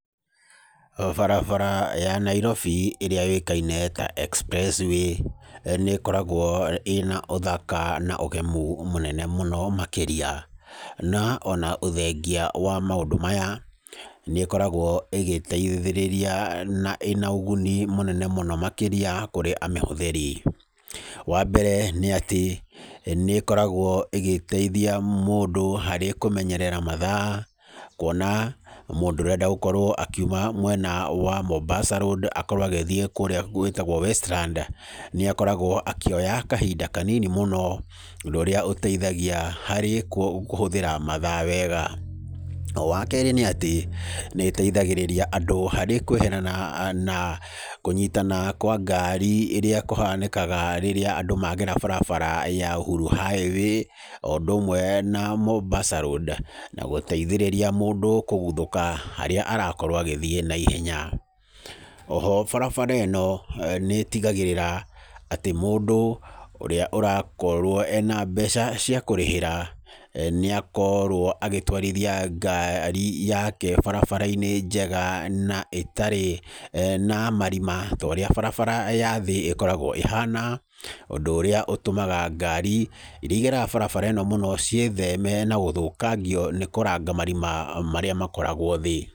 O barabara ya Nairobi ĩrĩa yũĩkaine ta Expressway, nĩ ĩkoragwo ĩna ũthaka na ũgemu mũnene mũno makĩria. Na ona ũthengia wa maũndũ maya, nĩ ĩkoragwo ĩgĩteithĩrĩria na ĩna ũguni mũnene mũno makĩria, kũrĩa amĩhũthĩri. Wa mbere, nĩ atĩ, nĩ ĩkoragwo ĩgĩteithia mũndũ harĩ kũmenyerera mathaa, kuona mũndũ ũrenda gũkorwo akiuma mwena wa Mombasa Road, akorwo agĩthiĩ kũrĩa gwĩtagwo Westland, nĩ akoragwo akĩoya kahinda kanini mũno, ũndũ ũrĩa ũteithagia harĩ kũhũthĩra mathaa wega. O wa keerĩ nĩ atĩ, nĩ ĩteithagĩrĩria andũ harĩ kweherana na kũnyitana kwa ngari ĩrĩa kũhanakaga rĩrĩa andũ magera barabara ya Uhuru Highway, o ũndũ ũmwe na Mombasa Road, na gũteithĩrĩria mũndũ kũguthũka harĩa arakorwo agĩthiĩ naihenya. Oho, barabara ĩno, nĩ ĩtigagĩrĩra, atĩ mũndũ ũrĩa ũrakorwo ena mbeca cia kũrĩhĩra, nĩ akorwo agĩtwarithia ngari yake barabara-inĩ njega na ĩtarĩ na marima ta ũrĩa barabara ya thĩ ĩkoragwo ĩhana, ũndũ ũrĩa ũtũmaga ngari irĩa igeraga barabara mũno ciĩtheme na gũthũkangio nĩ kũranga marima marĩa makoragwo thĩ.